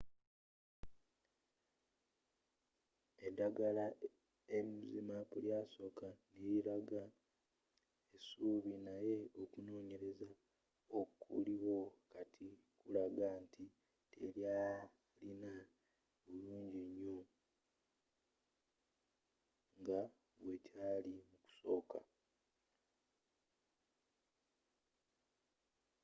eddagala zmapp lyasoka n'elilaga essuubi naye okunonyelezza okuliwo kati kulagga nti telyalina bulunginyo nga bwekyali mukusoka